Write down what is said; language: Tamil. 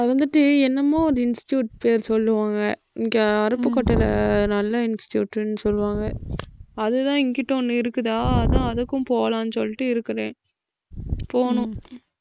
அது வந்துட்டு என்னமோ ஒரு institute பேரு சொல்லுவாங்க. இங்க அருப்புக்கோட்டையில நல்ல institute ன்னு சொல்லுவாங்க. அதுதான் இங்குட்டு ஒண்ணு இருக்குதா அதான் அதுக்கும் போலான்னு சொல்லிட்டு இருக்குதே. போணும்